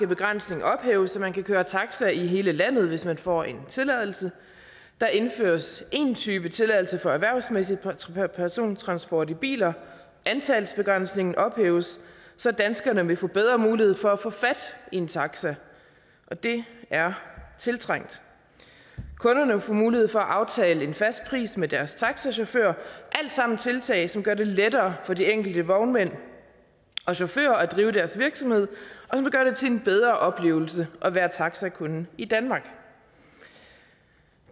begrænsning ophæves så man kan køre taxa i hele landet hvis man får en tilladelse der indføres én type tilladelse for erhvervsmæssig persontransport i biler antalsbegrænsningen ophæves så danskerne vil få bedre mulighed for at få fat i en taxa og det er tiltrængt kunderne vil få mulighed for at aftale en fast pris med deres taxachauffør alt sammen tiltag som gør det lettere for de enkelte vognmænd og chauffører at drive deres virksomhed og det til en bedre oplevelse at være taxakunde i danmark